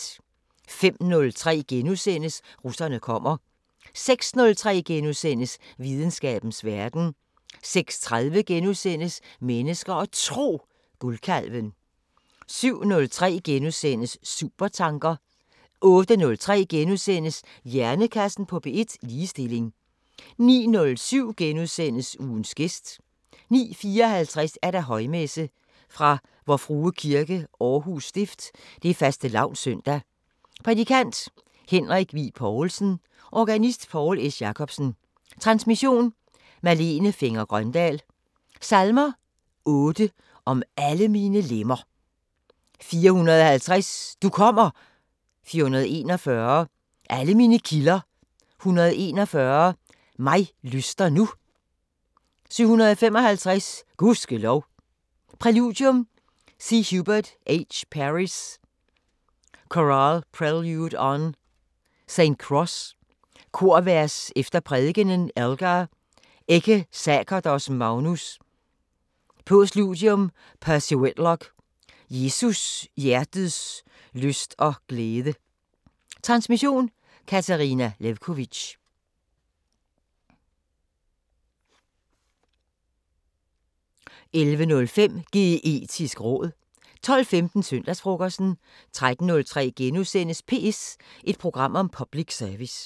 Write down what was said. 05:03: Russerne kommer * 06:03: Videnskabens Verden * 06:30: Mennesker og Tro: Guldkalven * 07:03: Supertanker * 08:03: Hjernekassen på P1: Ligestilling * 09:07: Ugens gæst * 09:54: Højmesse - Vor Frue Kirke, Aarhus Stift. Fastelavns søndag. Prædikant: Henrik Wigh-Poulsen. Organist: Poul S. Jacobsen. Transmission: Malene Fenger-Grøndahl. Salmer: 8: Om alle mine lemmer 450: Du kommer 441: Alle mine kilder 141: Mig lyster nu 755: Gud ske lov Præludium: C. Hubert H. Parry´s Chorale prelude on "St. Cross. Korvers efter prædikenen: Elgar: "Ecce sacerdos magnus" Postludium: Percy Whitlock: Jesus hjertets lyst og glæde. Transmission: Katarina Lewkovitch. 11:05: Geetisk råd 12:15: Søndagsfrokosten 13:03: PS – et program om public service *